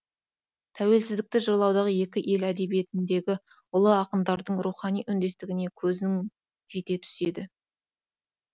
тәуелсіздікті жырлаудағы екі ел әдебиетіндегі ұлы ақындардың рухани үндестігіне көзің жете түседі